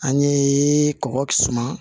An ye kɔkɔ suma